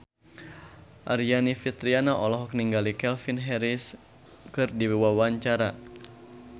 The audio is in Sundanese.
Aryani Fitriana olohok ningali Calvin Harris keur diwawancara